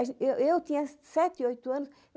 A gen, eu eu tinha sete, oito anos.